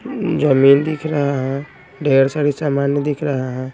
अम्म जमीन दिख रहा हैं ढेर सारी सामान दिख रहा हैं।